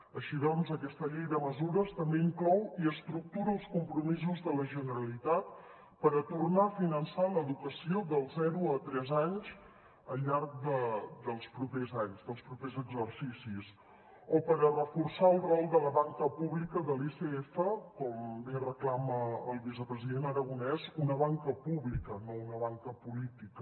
així doncs aquesta llei de mesures també inclou i estructura els compromisos de la generalitat per a tornar a finançar l’educació dels zero a tres anys al llarg dels propers anys dels propers exercicis o per a reforçar el rol de la banca pública de l’icf com bé reclama el vicepresident aragonès una banca pública no una banca política